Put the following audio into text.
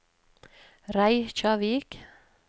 Reykjavík